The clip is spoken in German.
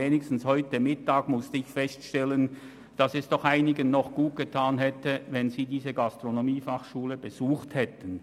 Zumindest heute Mittag musste ich feststellen, dass es doch einigen Leuten gut getan hätte, diese Gastronomiefachschule zu besuchen.